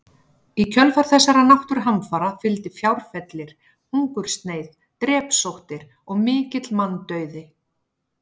Í kjölfar þessara náttúruhamfara fylgdi fjárfellir, hungursneyð, drepsóttir og mikill manndauði.